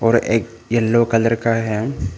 और एक yellow colour का है।